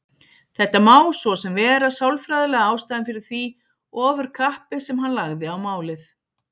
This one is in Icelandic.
Þetta má svo sem vera sálfræðilega ástæðan fyrir því ofurkappi sem hann lagði á málið.